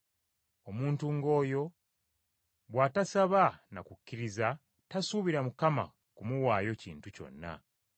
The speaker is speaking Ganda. Omuntu ng’oyo bw’atasaba na kukkiriza tasuubira Mukama kumuwaayo kintu kyonna.